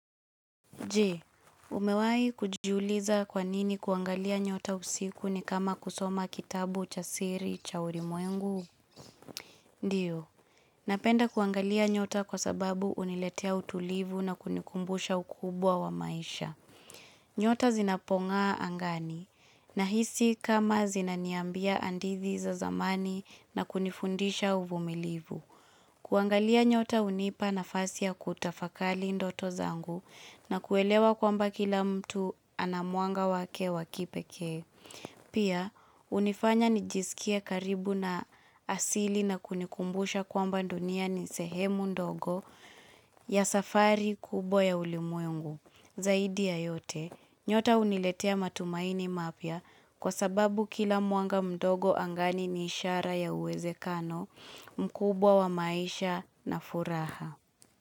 Je, umewahi kujiuliza kwanini kuangalia nyota usiku ni kama kusoma kitabu cha siri cha ulimwengu? Ndiyo, napenda kuangalia nyota kwa sababu uniletea utulivu na kunikumbusha ukubwa wa maisha. Nyota zinapong'aa angani, nahisi kama zinaniambia hadithi za zamani na kunifundisha uvumilivu. Kuangalia nyota unipa nafasi ya kutafakali ndoto zangu na kuelewa kwamba kila mtu anamwanga wake wakipekee. Pia, hunifanya nijisikie karibu na asili na kunikumbusha kwamba dunia ni sehemu ndogo ya safari kubwa ya ulimwengu. Zaidi ya yote, nyota huniletea matumaini mapya kwa sababu kila mwanga mdogo angani ni ishara ya uwezekano mkubwa wa maisha na furaha.